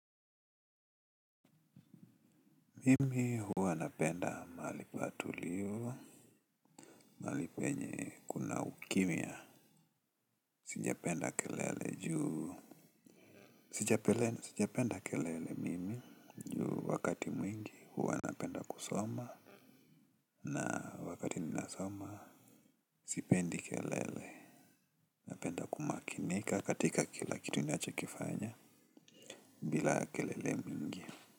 Hivi hua napenda mahali patulivu mahali penye kuna ukimya. Sijapenda kelele juu. Sijapenda kelele mimi. Juu wakati mwingi huwa napenda kusoma. Na wakati ninasoma sipendi kelele, napenda kumakinika. Katika kila kitu nina chokifanya bila kelele mingi.